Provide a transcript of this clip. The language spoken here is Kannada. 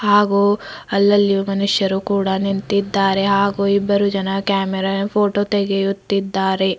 ಹಾಗು ಅಲ್ಲಲ್ಲಿ ಮನುಷ್ಯರು ಕೂಡ ನಿಂತಿದ್ದಾರೆ ಹಾಗು ಇಬ್ಬರು ಜನ ಕ್ಯಾಮರಾ ಫೋಟೋ ತೆಗೆಯುತ್ತಿದ್ದಾರೆ.